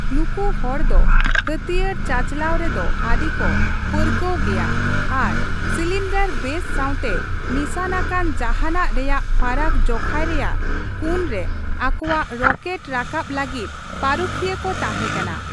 ᱱᱩᱠᱩ ᱦᱚᱲ ᱫᱚ ᱦᱟᱹᱛᱭᱟᱹᱨ ᱪᱟᱪᱞᱟᱣ ᱨᱮᱫᱚ ᱟᱹᱰᱤ ᱠᱚ ᱯᱟᱹᱨᱠᱟᱹᱣ ᱜᱮᱭᱟ ᱟᱨ ᱥᱤᱞᱤᱱᱰᱟᱨ ᱵᱮᱥ ᱥᱟᱣᱛᱮ ᱱᱤᱥᱟᱹᱱ ᱟᱠᱟᱱ ᱡᱟᱦᱟᱱᱟᱜ ᱨᱮᱭᱟᱜ ᱯᱷᱟᱨᱟᱠ ᱡᱚᱠᱷᱟᱭ ᱨᱮᱭᱟᱜ ᱠᱩᱱ ᱨᱮ ᱟᱠᱚᱣᱟᱜ ᱨᱚᱠᱮᱴ ᱨᱟᱠᱟᱵ ᱞᱟᱹᱜᱤᱫ ᱯᱟᱹᱨᱩᱠᱷᱤᱭᱟᱹ ᱠᱚ ᱛᱟᱸᱦᱮ ᱠᱟᱱᱟ ᱾